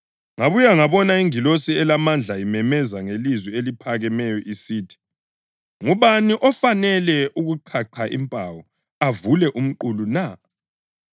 Ngabuya ngabona ingilosi elamandla imemeza ngelizwi eliphakemeyo isithi, “Ngubani ofanele ukuqhaqha impawu avule umqulu na?”